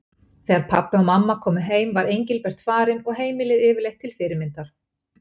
Þegar pabbi og mamma komu heim var Engilbert farinn og heimilið yfirleitt til fyrirmyndar.